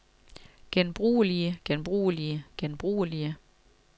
genbrugelige genbrugelige genbrugelige